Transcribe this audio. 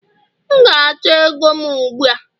M ga-achọ ego m ugbu a!